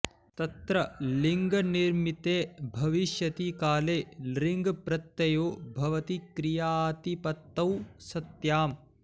तत्र लिङ्निमित्ते भविष्यति काले लृङ् प्रत्ययो भवति क्रियातिपत्तौ सत्याम्